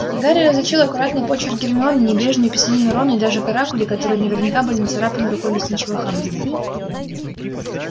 гарри различил аккуратный почерк гермионы небрежную писанину рона и даже каракули которые наверняка были нацарапаны рукой лесничего хагрида